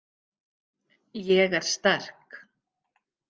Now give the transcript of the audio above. Ég er sterk.